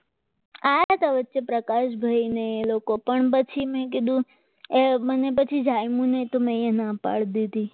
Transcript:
આયાતા વચ્ચે પ્રકાશભાઈ ને એ લોકો પણ પછી મેં કીધું મને પછી જાણ્યું કે નયા ના પાડી દીધી